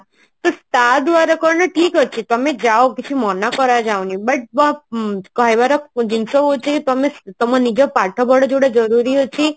ତ ତା ଦ୍ଵାରା କହିଲେ ଠିକ ଅଛି କାହାକୁ କିଛୁ ମନା କ୍ର ଯାଉନି but ବ ବ କହିବାର ଜିନିଷ ହଉଛି ତମେ ତମ ନିଜ ପାଠ ପଢା ଯେମତି ଜରୁରୀ ଅଛି